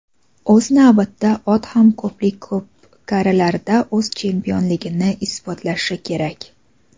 o‘z navbatida ot ham ko‘plab ko‘pkarilarda o‘z chempionligini isbotlashi kerak.